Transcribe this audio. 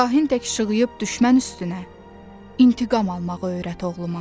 Şahin tək ışığıyıb düşmən üstünə intiqam almağı öyrət oğluma.